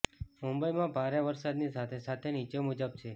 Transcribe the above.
મુંબઈમાં ભારે વરસાદની સાથે સાથે નીચે મુજબ છે